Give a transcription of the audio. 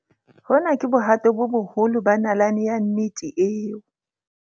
Hona ke bohato bo boholo ba nalane ya nnete eo.